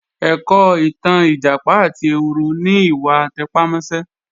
Ẹ̀kọ́ ìtàn Ìjàpá àti ehoro ni ìwà àtẹpámọ́sẹ́